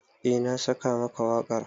Eh na saka maka wakar.